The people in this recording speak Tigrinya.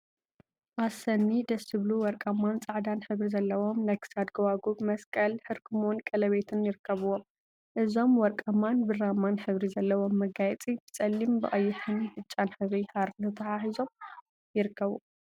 ኣሰኒ! ደስ ዝብሉ ወርቃማን ጻዕዳን ሕብሪ ዘለዎም ናይ ክሳድ ጎባጉብ፣ መስቀል፣ ሕርክሞን ቀለቤትን ይርከቡዎም። እዞም ውርቃማን ብራማን ሕብሪ ዘለዎም መጋየጺ ብጸሊም፣ ብቀይሕን ብጫን ሕብሪ ሃሪ ተተሓሒዞም ይርከቡ።